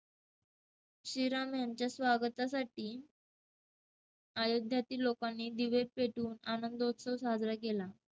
श्री राम यांच्या स्वागतासाठी अयोध्यातील लोकांनी दिवे पेटवून आनंदोत्सव साजरा केला.